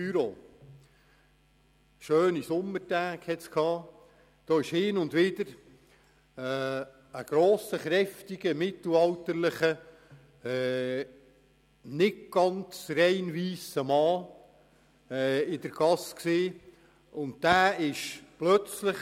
An schönen Sommertagen kam es in der Kramgasse vor meinem Büro hin und wieder vor, dass ein grosser, kräftiger, mittelalterlicher, nicht ganz rein weisser Mann in der Gasse plötzlich unmotiviert auf Touristengruppen losging.